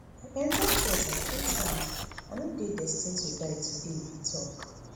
i enta theatre three times i no dey destined to die today e tok